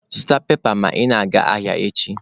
Zụta pepa ma ị gaa ahịa echi!